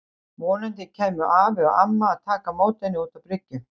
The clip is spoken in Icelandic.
Vonandi kæmu afi og amma að taka á móti henni út á bryggju.